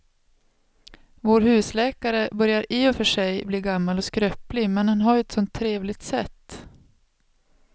Vår husläkare börjar i och för sig bli gammal och skröplig, men han har ju ett sådant trevligt sätt!